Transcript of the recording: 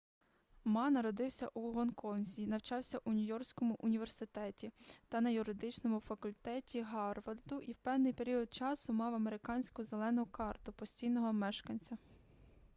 ма народився у гонконзі навчався у нью-йоркському університеті та на юридичному факультеті гарварду і в певний період часу мав американську зелену картку постійного мешканця